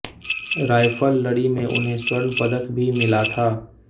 राइफलरी में उन्हें स्वर्ण पदक भी मिला था